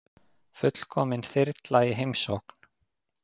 Fullkomin þyrla í heimsókn